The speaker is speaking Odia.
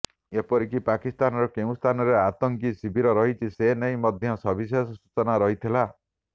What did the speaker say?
ଏପରିକି ପାକିସ୍ତାନର କେଉଁ ସ୍ଥାନରେ ଆତଙ୍କୀ ଶିବିର ରହିଛି ସେ ନେଇ ମଧ୍ୟ ସବିଶେଷ ସୂଚନା ରହିଥିଲା